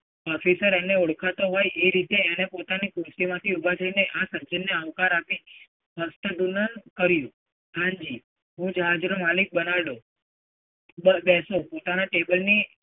officer એના ઓળખતો હોય એ રીતે એ રીતે પોતાની ખુરશીમાંથી ઊભા થઈને આ સજ્જનને આવકાર આપી કર્યું. હાં જી, હું જહાજ નો માલિક બનાર્ડો ઉદર બેસો. પોતાના table ની